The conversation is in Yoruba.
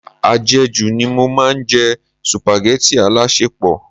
Ajeju ni mo máa ń jẹ supageti alasepo.